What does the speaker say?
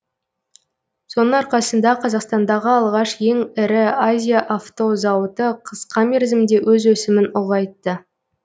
соның арқасында қазақстандағы алғаш ең ірі азия авто зауыты қысқа мерзімде өз өсімін ұлғайтты